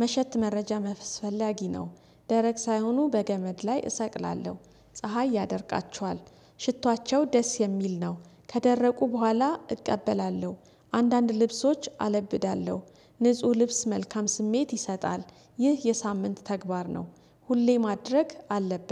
ምሽት ት መረጃ አስፈላጊ ነው። ደረቅ ሳይሆኑ በገመድ ላይ እሰቅላለሁ ፀሀይ ያደርቃቸዋል። ሽቷቸው ደስ የሚል ነው። ከደረቁ በኋላ እቀበላለሁ። አንዳንድ ልብሶች አለብዳለሁ። ንጹህ ልብስ መልካም ስሜት ይሰጣል። ይህ የሳምንት ተግባር ነው። ሁሌ ማድረግ አለበት